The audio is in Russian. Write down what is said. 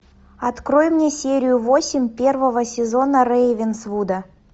открой мне серию восемь первого сезона рейвенсвуда